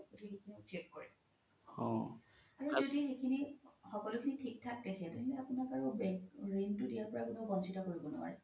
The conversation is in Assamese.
check কৰে আৰু যদি সিখিনি সকলো খিনি থিক থাক দেখে আপোনাক আৰু ৰিনটো দিয়াৰ পৰা কোনো consider কৰিব নোৱাৰে